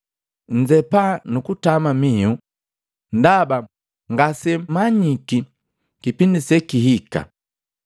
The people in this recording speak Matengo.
Nnzepa nu kutama mihu, ndaba ngasemmanyiki kipindi sekihika.